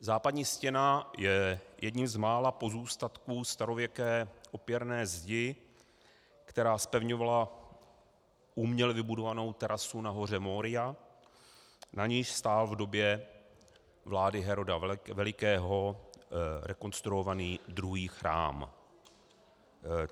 Západní stěna je jedním z mála pozůstatků starověké opěrné zdi, která zpevňovala uměle vybudovanou terasu na hoře Moria, na níž stál v době vlády Heroda Velikého rekonstruovaný druhý chrám.